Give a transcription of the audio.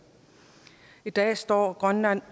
i dag står grønland